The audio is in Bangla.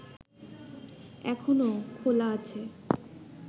এখনো খোলা আছে